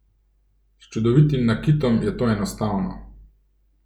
S čudovitim nakitom je to enostavno!